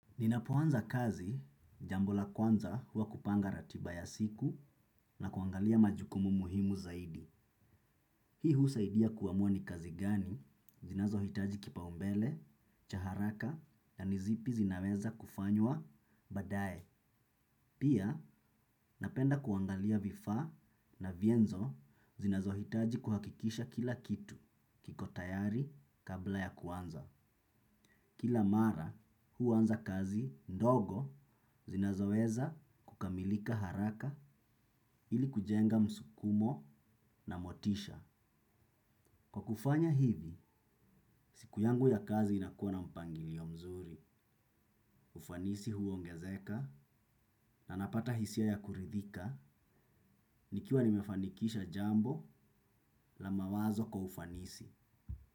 Ninapoanza kazi, jambo la kwanza huwa kupanga ratiba ya siku na kuangalia majukumu muhimu zaidi. Hii husaidia kuamua ni kazi gani, zinazohitaji kipaumbele, cha haraka na ni zipi zinaweza kufanywa, baadaye. Pia, napenda kuangalia vifaa na vyenzo zinazohitaji kuhakikisha kila kitu, kiko tayari kabla ya kuanza. Kila mara, huanza kazi ndogo zinazoweza kukamilika haraka ili kujenga msukumo na motisha. Kwa kufanya hivi, siku yangu ya kazi inakuwa na mpangilio mzuri. Ufanisi huongezeka na napata hisia ya kuridhika nikiwa nimefanikisha jambo la mawazo kwa ufanisi.